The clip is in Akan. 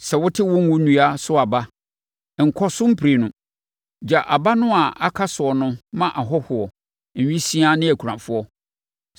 Sɛ wote wo ngo nnua so aba a, nkɔ so mprenu. Gya aba no a aka so no ma ahɔhoɔ, nwisiaa ne akunafoɔ.